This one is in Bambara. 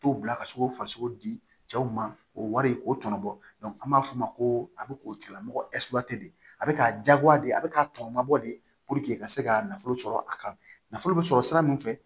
Tow bila ka se k'u faso di cɛw ma o wari k'o tɔnɔ bɔ an b'a fɔ o ma ko a bɛ k'o tigilamɔgɔ de a bɛ k'a jagoya de a bɛ k'a tɔ mabɔ de ka se ka nafolo sɔrɔ a kan nafolo bɛ sɔrɔ sira min fɛ